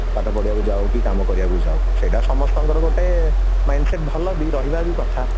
କି ପାଠ ପଢିବାକୁ ଯାଉ କି କାମ କରିବାକୁ ଯାଉ ସେଇଟା ସମସ୍ତଙ୍କର ଗୋଟେ mindset ଭଲ ବି ରହିବା ବି କଥା